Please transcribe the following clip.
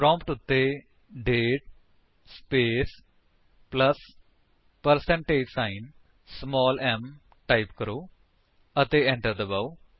prompt ਉੱਤੇ ਦਾਤੇ space plus percentage sign small m type ਕਰੋ ਅਤੇ enter ਦਬਾਓ